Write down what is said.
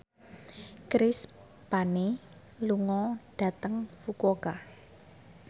Chris Pane lunga dhateng Fukuoka